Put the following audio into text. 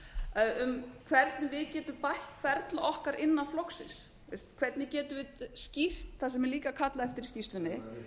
áramótin um hvernig við getum bætt ferli okkar innan flokksins hvernig getum við skýrt það sem líka er kallað eftir í skýrslunni